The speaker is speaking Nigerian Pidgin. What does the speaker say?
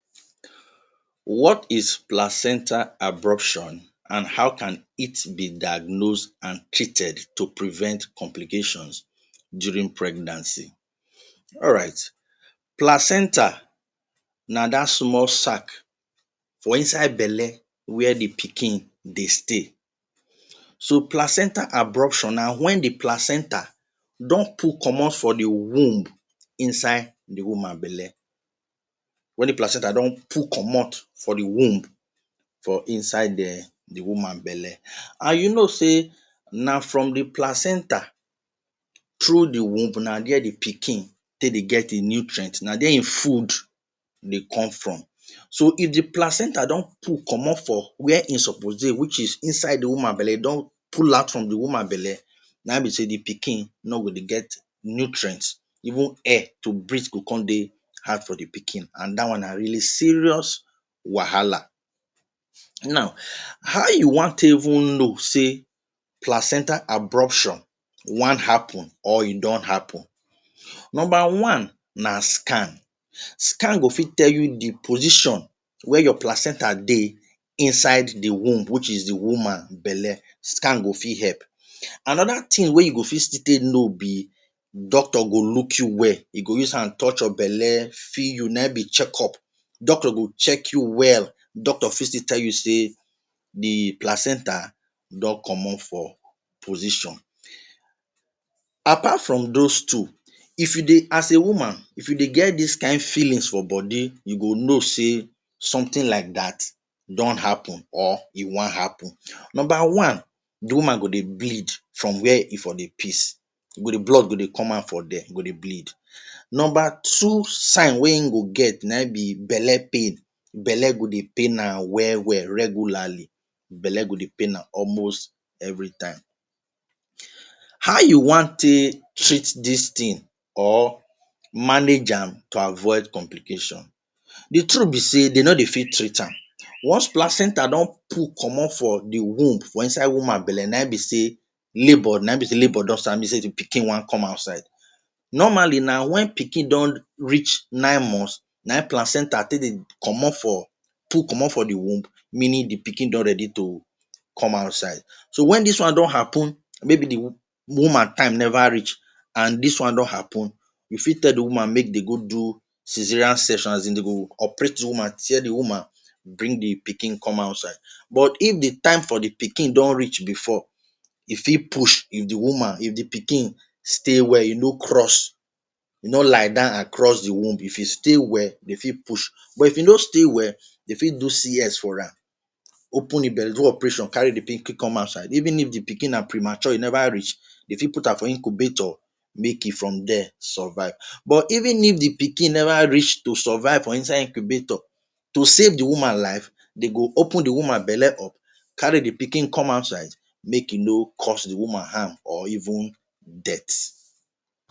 What is Placenta abruption and how can it be diagnosed and treated to prevent complications during pregnancy? Alright placenta na dat small sack for inside belle wia di pikin dey stay, so placenta abruption na when di placenta don pull commot from di womb inside di woman belle when di placenta don pull commot from di womb inside di woman belle and you know say na from di placenta through di womb na dia di pikin take dey get e nutrient, na dia di food dey come from so if di placenta don pull commot from where e suppose dey which is inside di woman belle if e don pull out di woman belle na him be say di pikin no go dey get nutrient even air to breathe go come dey really hard for di pikin and dat one na serious wahala. Now how you go wan take even know say placenta abruption wan happen or e don happen, number one na scan, scan go fit tell you di position wey your placenta dey inside di womb which is di woman belle scan go fit help anoda tin wey you go fit still take know be doctor go look you well he go use hand touch your belle feel you na him be checkup, doctor go check you well doctor fit still tell you say di placenta don commot for position. Apart from dose two if you dey as a woman if you dey get dis kain feelings for body you go know say sometin like dat don happen or e wan happen. Number one di woman go dey bleed from wia e from dey piss e go dey blood e go dey come out from dia e go dey bleed, number two sign wey e go get na belle pain belle go dey pain am well well regularly belle go dey pain am almost everytime. How you wan take treat dis tin or manage am to avoid complication, di truth be say dem no dey fit treat am once placenta don pull commot from di womb for inside woman belle na him be say labor na him be say labor na him be say di pikin wan come outside normally na wen pikin don reach nine months na him placenta take dey commot for pull commot form di womb meaning di pikin don ready to come outside. So wen dis one don happen maybe di woman time neva reach and dis one don happen you fit tell di woman make dem go do cesarean section as in dem go operate di woman tia di woman bring di pikin come outoutside but if di time of di pikin don reach before e fit push di woman if di pikin stay well e no cross, e no lie down across di womb, if e stay well e fit push but if e no stay well e fit do CS for am open di belle do operation carry di pikin come outside even if di pikin na premature e never reach dey fit put am for incubator make e from dia survive but even if di pikin neva reach to survive for inside incubabtor to save di woman life dem go open di woman bele up, carry di pikin come outside make e no cause di woman harm or even death.